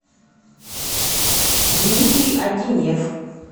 дмитрий адинев